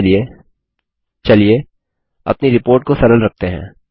अभी के लिए चलिए अपनी रिपोर्ट को सरल रखते हैं